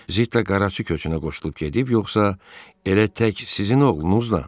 Zitta qaraçı köçünə qoşulub gedib, yoxsa elə tək sizin oğlunuzla?